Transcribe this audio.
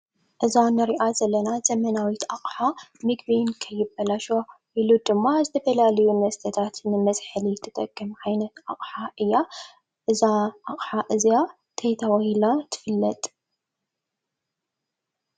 እዛ እንሪኣ ዘለና ዘመናዊት ኣቅሓ ምግቢ ከይባላሸው ኢሉ ድማ ንዝተፈላለዩ መስተታት መዝሐሊ እትጠቅም ዓይነት ኣቅሓ እያ፡፡ እዛ ኣቅሓቀ እዚኣ እንታይ ተባሂላ ትፍለጥ?